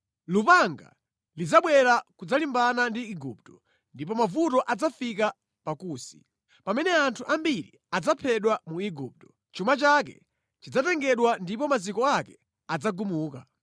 Lupanga lidzabwera kudzalimbana ndi Igupto ndipo mavuto adzafika pa Kusi. Pamene anthu ambiri adzaphedwa mu Igupto, chuma chake chidzatengedwa ndipo maziko ake adzagumuka.